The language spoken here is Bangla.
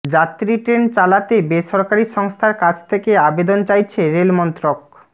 যাত্রী ট্রেন চালাতে বেসরকারি সংস্থার কাছ থেকে আবেদন চাইছে রেলমন্ত্রক